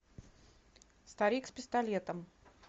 старик с пистолетом